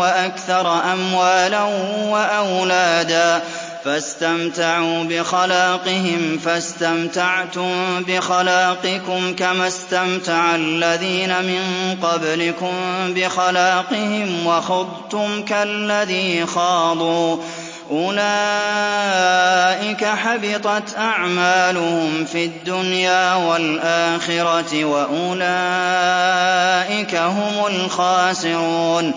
وَأَكْثَرَ أَمْوَالًا وَأَوْلَادًا فَاسْتَمْتَعُوا بِخَلَاقِهِمْ فَاسْتَمْتَعْتُم بِخَلَاقِكُمْ كَمَا اسْتَمْتَعَ الَّذِينَ مِن قَبْلِكُم بِخَلَاقِهِمْ وَخُضْتُمْ كَالَّذِي خَاضُوا ۚ أُولَٰئِكَ حَبِطَتْ أَعْمَالُهُمْ فِي الدُّنْيَا وَالْآخِرَةِ ۖ وَأُولَٰئِكَ هُمُ الْخَاسِرُونَ